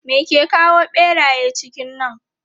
Me ke kawo ɓeraye cikin nan?